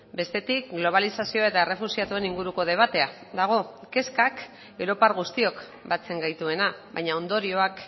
bestetik globalizazioa eta errefuxiatuen inguruko debatea dago kezkak europar guztiok batzen gaituena baina ondorioak